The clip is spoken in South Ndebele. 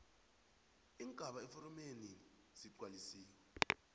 iingaba eforomeneli zigcwalisiwe